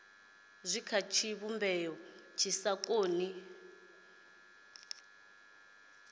kha tshivhumbeo tshi sa koni